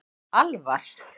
Alvar